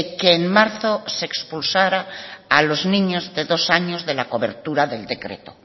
que en marzo se expulsara a los niños de dos años de la cobertura del decreto